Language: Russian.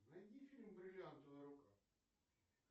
найди фильм бриллиантовая рука